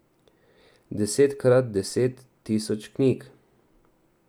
Desetkrat deset tisoč knjig.